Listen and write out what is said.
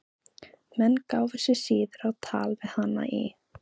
Menn gáfu sig síður á tal við hana í